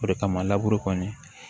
O de kama kɔni